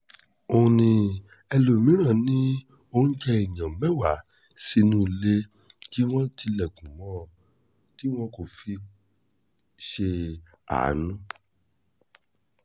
ó ní ẹlòmíràn ni oúnjẹ èèyàn mẹ́wàá nínú ilé tí wọ́n tilẹ̀kùn mọ́ ọn láì fi ṣe àánú